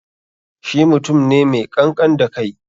Shi mutum ne mai ƙanƙan da kai